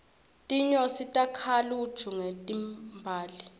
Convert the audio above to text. tinyosi takha luju ngetimbali